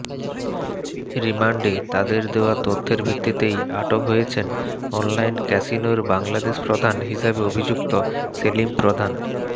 রিমান্ডে তাদের দেওয়া তথ্যের ভিত্তিতেই আটক হয়েছেন অনলাইন ক্যাসিনোর বাংলাদেশ প্রধান হিসেবে অভিযুক্ত সেলিম প্রধান